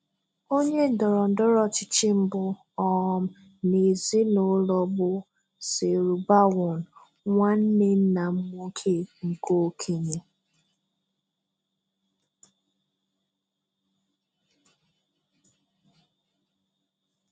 Onye ndọrọndọrọ ọchịchị mbụ um n'ezinụlọ bụ Serubawon, nwanne nna m nwoke nke okenye.